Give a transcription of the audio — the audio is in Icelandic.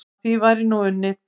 Að því væri nú unnið.